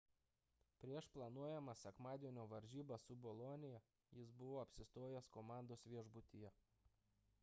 prieš planuojamas sekmadienio varžybas su bolonija jis buvo apsistojęs komandos viešbutyje